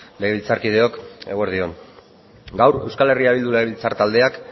legebiltzarkideok eguerdi on gaur euskal herria bildu legebiltzar taldeak